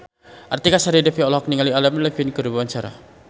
Artika Sari Devi olohok ningali Adam Levine keur diwawancara